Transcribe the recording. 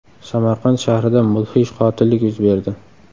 Samarqand shahrida mudhish qotillik yuz berdi.